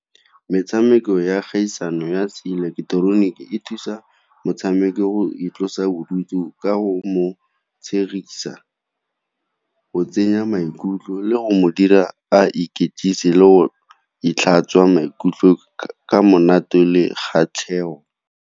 Metshameko ya kgaisano ya seileketeroniki e thusa motshameko go itlosa bodutu ka go mo tshegisa, go mo tsenya maikutlo, le go dira a le go tlhatswa maikutlo ka monate le kgatlhego.